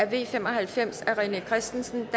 v fem og halvfems af rené christensen